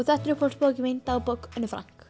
þetta er uppáhaldsbókin mín dagbók Önnu